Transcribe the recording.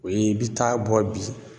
O ye i bi taa a bɔ bi